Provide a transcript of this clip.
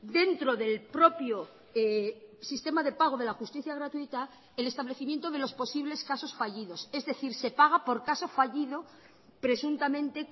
dentro del propio sistema de pago de la justicia gratuita el establecimiento de los posibles casos fallidos es decir se paga por caso fallido presuntamente